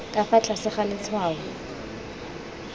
ka fa tlase ga letshwao